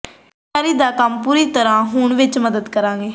ਤਿਆਰੀ ਦਾ ਕੰਮ ਪੂਰੀ ਤਰਾਂ ਤਿਆਰ ਹੋਣ ਵਿੱਚ ਮਦਦ ਕਰੇਗਾ